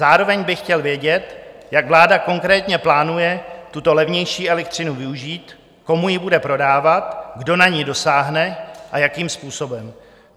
Zároveň bych chtěl vědět, jak vláda konkrétně plánuje tuto levnější elektřinu využít, komu ji bude prodávat, kdo na ni dosáhne a jakým způsobem?